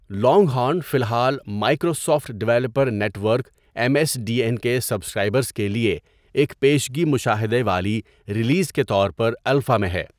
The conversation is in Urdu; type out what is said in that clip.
لانگ ہارن فی الحال Microsoft developer network M S D N کے سبسکرائبرز کے لیے ایک پیشگی مشاہدہ والی ریلیز کے طور پر الفا میں ہے.